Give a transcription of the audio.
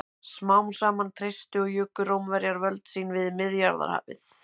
Smám saman treystu og juku Rómverjar völd sín við Miðjarðarhafið.